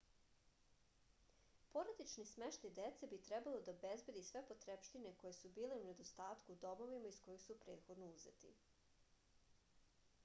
porodični smeštaj dece bi trebalo da obezbedi sve potrepštine koje su bile u nedostatku u domovima iz kojih su prethodno uzeti